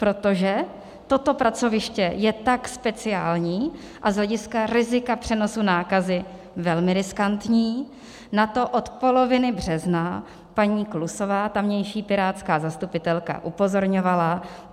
Protože toto pracoviště je tak speciální a z hlediska rizika přenosu nákazy velmi riskantní, na to od poloviny března paní Klusová, tamější pirátská zastupitelka, upozorňovala.